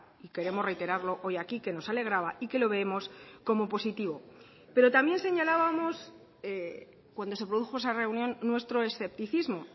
y queremos reiterarlo hoy aquí que nos alegraba y que lo vemos como positivo pero también señalábamos cuando se produjo esa reunión nuestro escepticismo